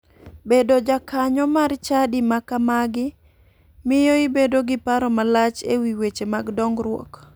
Bedo jakanyo mar chadi ma kamagi miyo ibedo gi paro malach e wii weche mag dongruok.